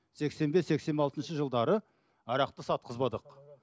сексен бес сексен алтыншы жылдары арақты сатқызбадық